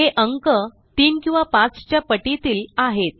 हे अंक 3 किंवा 5 च्या पटीतील आहेत